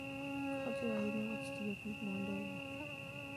Ojiwo ahinya wach tiyo gi mwandu e wuoth.